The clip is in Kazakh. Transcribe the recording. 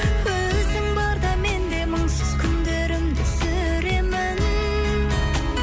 өзің барда мен де мұңсыз күндерімді сүремін